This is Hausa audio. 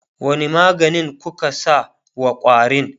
wani maganin kuka sa wa ƙwarin?